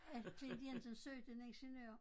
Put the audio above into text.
At Klint Jensen søgte en ingeniør